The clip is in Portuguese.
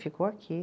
Ficou aqui.